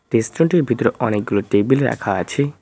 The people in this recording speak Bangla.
টি স্টল -টির ভিতরে অনেকগুলো টেবিল রাখা আছে।